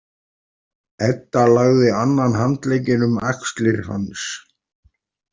Edda lagði annan handlegginn um axlir hans.